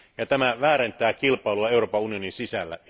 Tämä väärentää kilpailua Euroopan unionin sisällä.